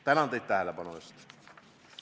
Tänan teid tähelepanu eest!